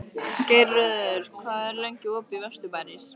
Geirröður, hvað er lengi opið í Vesturbæjarís?